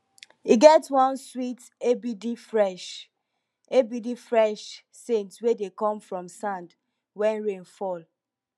e get one sweet abd fresh abd fresh saint wey dey come from sand wen rain fall